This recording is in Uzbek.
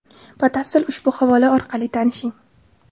Batafsil ushbu havola orqali tanishing.